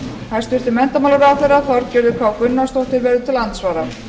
hæstvirtur menntamálaráðherra þorgerður k gunnarsdóttir verður til andsvara